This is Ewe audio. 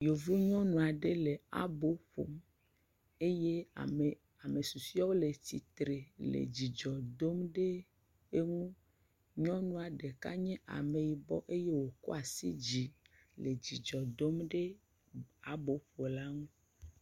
Yevu nyɔnua ɖe le abo ƒom eye ame susueawo le tsitre le dzidzɔ dom ɖe eŋu Nyɔnua ɖeka nye ameyibɔ eye wokɔ asi dzi le dzidzɔ dom ɖe aboƒala ŋu.